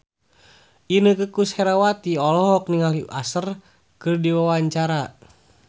Inneke Koesherawati olohok ningali Usher keur diwawancara